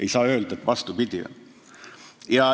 Ei saa öelda, et on vastupidi.